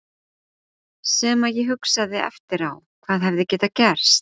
Sem að ég hugsaði eftir á, hvað hefði getað gerst?